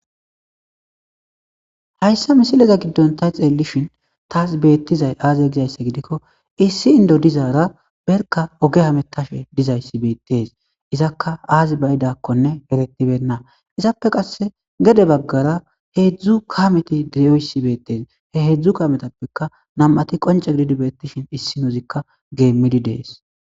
Hayssa misileza giddonta xeellishin taas beettizay aaze gizayssa gidikko issi indo dizaara berka oge hamettashe dizayssi beettes izakka aazi bayidakkone erettibenna izappe qasse gede baggara heedzdzu kameti diiyoyssi beettes he heedzdzu kametappeka nam.ati qonce gididi beettishin issinozikka geemmidi dees.